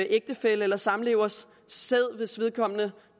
ægtefælles eller samlevers sæd hvis vedkommende